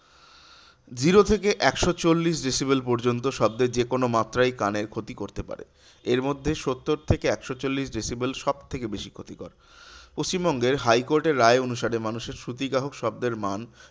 Zero থেকে একশো চল্লিশ decibel পর্যন্ত শব্দের যেকোনো মাত্রাই কানের ক্ষতি করতে পারে এরমধ্যে সত্তর থেকে একশো চল্লিশ decibel সবথেকে বেশি ক্ষতিকর। পশ্চিমবঙ্গের high court এর রায় অনুসারে মানুষের শ্রুতি গ্রাহক শব্দের মান